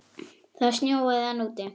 Það snjóaði enn úti.